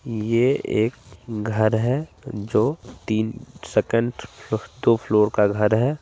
ये एक घर हें जो तीन सेकेन्ड फ्लोर टू फ्लोर का घर है।